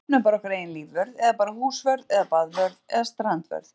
Við stofnum bara okkar eigin lífvörð eða bara húsvörð eða baðvörð eða strandvörð.